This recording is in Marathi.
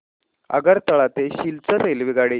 आगरतळा ते सिलचर रेल्वेगाडी